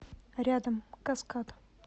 рядом каскад